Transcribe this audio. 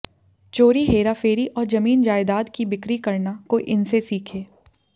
चोरी हेराफेरी और जमीन जायदाद की बिक्री करना कोई इनसे सीखे